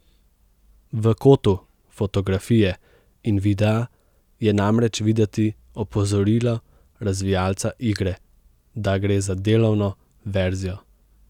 V kotu fotografije in videa je namreč videti opozorilo razvijalca igre, da gre za delovno verzijo.